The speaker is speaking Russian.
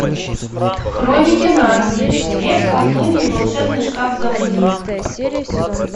хроники нарнии лев колдунья и волшебный шкаф заводи